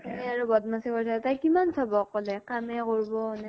সেই আৰু বদমাছি কৰি থাকে, তাই কিমান চাব অকলে, কামে কৰব নে